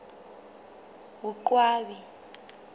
boqwabi